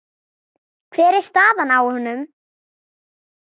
Hver er staðan á honum?